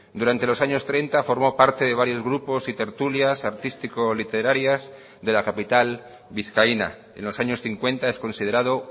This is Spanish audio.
durante los años treinta formó parte de varios grupos y tertulias artístico literarias de la capital vizcaína en los años cincuenta es considerado